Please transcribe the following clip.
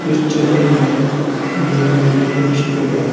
इस चित्र में एक मेडिकल स्टोर है।